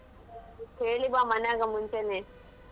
ಹೇಳಿ ಬಾ ಮನೆಯಾಗ ಮುಂಚೆನೇ .